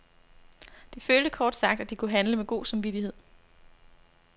De følte kort sagt, at de kunne handle med god samvittighed.